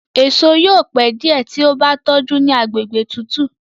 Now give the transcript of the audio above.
èso yóò pẹ diẹ tí o bá tójú ní àgbègbè tútù.